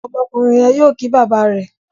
Ọmọkùnrin yén yóò kí bàbá rẹ.